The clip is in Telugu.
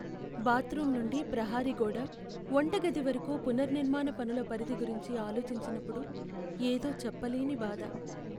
బాత్రూమ్ నుండీ ప్రహరీ గోడ, వంటగది వరకూ పునర్నిర్మాణ పనుల పరిధి గురించి ఆలోచించినప్పుడు, ఏదో చెప్పలేని బాధ!